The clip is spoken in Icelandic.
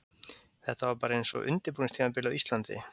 Þetta var bara eins og undirbúningstímabilið á Íslandi.